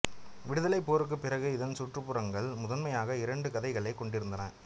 விடுதலைப் போருக்குப் பிறகு இதன் சுற்றுப்புறங்கள் முதன்மையாக இரண்டு கதைகளைக் கொண்டிருந்தன